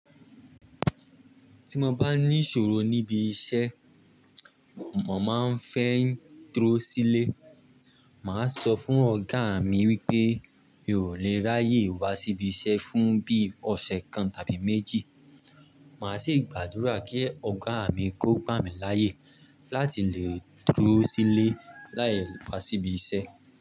Tí mo bá ní ìṣòro níbi iṣẹ́, mo máa ń fẹ́ ń dúró sílé. Màá sọ fún ọ̀gá mi wípé mi ò lè ráyè wá síbi iṣẹ́ fún bí i ọ̀sẹ̀ kan tàbí méjì. Màá sì gbàdúrà kí Ọ̀gá mi kó gbà mí láyè láti lè dúró sílé láì wá síbi iṣẹ́.